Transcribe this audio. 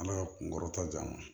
Ala ka kunkɔrɔta di an ma